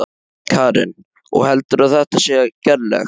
Karen: Og heldurðu að þetta sé gerlegt?